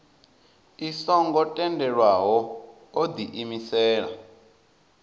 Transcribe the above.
i songo tendelwaho o diimisela